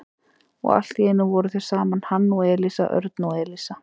Og allt í einu voru þau saman, hann og Elísa, Örn og Elísa.